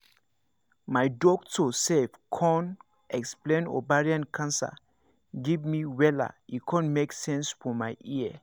my doctor sef con explain ovarian cancer give me wella e con make sense for my ear